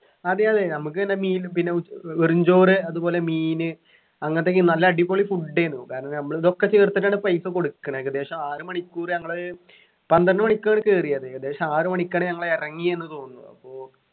അതെയതെ നമക്ക് പിന്നെ മീനു പിന്നെ ഉ ഏർ വെറും ചോറ് അതുപോലെ മീന് അങ്ങനത്തെ ഒക്കെ നല്ല അടിപൊളി food ഏനു കാരണം നമ്മളിതൊക്കെ ചേർത്തിട്ടാണ് പൈസ കൊടുക്കണത് ഏകദേശം ആറുമണിക്കൂറ് ഞങ്ങള് പന്ത്രണ്ടുമണിക്കാണ് കേറിയത് ഏകദേശം ആറുമണിക്കാണ് ഞങ്ങൾ ഇറങ്ങിയേന്നു തോന്നുന്നു അപ്പോ